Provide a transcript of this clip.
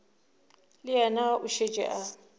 le yena o šetše a